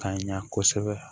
Ka ɲa kosɛbɛ